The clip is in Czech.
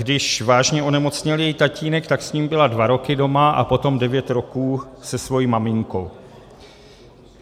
Když vážně onemocněl její tatínek, tak s ním byla dva roky doma a potom devět roků se svou maminkou.